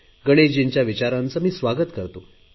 गणेशजींच्या विचारांचे मी स्वागत करतो